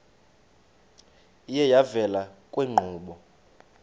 iye yavela kwiinkqubo